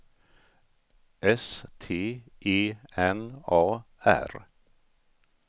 S T E N A R